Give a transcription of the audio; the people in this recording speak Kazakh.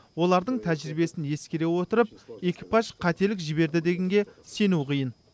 олардың тәжірибесін ескере отырып экипаж қателік жіберді дегенге сену қиын